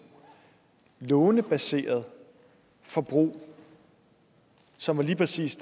lånebaseret forbrug som lige præcis